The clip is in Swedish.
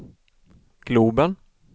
globen